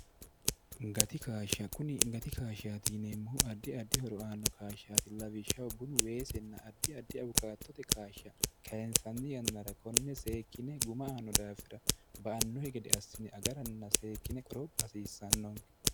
gati kshshkuni gati kaashshaati yineemmohu addi addi horo aanno kaashshaati lawishshaho bunu weesinna addi addi awukaattote kaashsha kainsanni yannara konne seekkine guma aano daafira ba annohe gede assine agaranna seekkine qoropha hasiissannonke